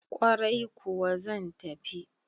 Ƙwarai kuwa zan tafi